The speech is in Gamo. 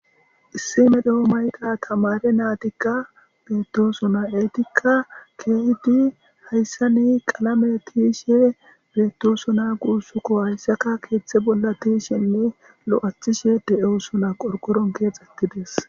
Issime dhe'o mayqa tamare naatikka beettoosona eetikka keehidi hayssa ni qalame tiishe beettosona guussukko hayssaka keeththe bolla tishenne lo'athishe de'ewusona qorgoron keex ettides.